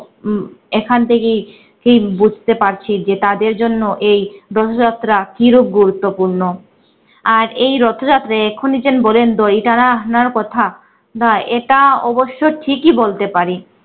এখান থেকেই কেই বুঝতে পারছি যে তাদের জন্য এই দোলযাত্রা কি রূপ গুরুত্বপূর্ণ। আর এই রথযাত্রা এক্ষুনি যে বললেন তো দড়ি টানার কথা বা এটা অবশ্য ঠিকই বলতে পারি।